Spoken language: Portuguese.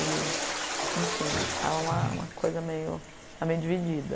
E enfim, estava uma uma coisa meio estava meio dividida.